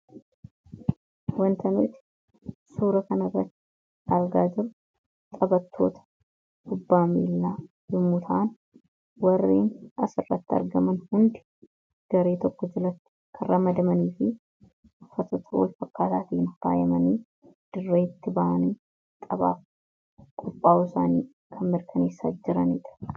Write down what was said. Wantoonni nuti suura kanarra argaa jirru taphattoota kubbaa miilaa yommuu ta'an warri as irratti argaman hundi garee tokko jalatti kanramadamaniidha.